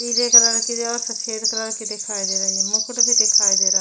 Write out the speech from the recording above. पीले कलर की जो है और सफेद कलर के दिखाई दे रहे है मुकुट भी दिखाई दे रहा है।